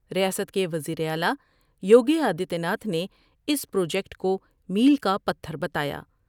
ریاست کے وزیراعلی یوگی آدتیہ ناتھ نے اس پروجیکٹ کومیل کا پتھر بتایا ۔